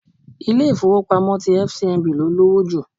Ilé ifowopamo ti Fcmb ló lowo jù.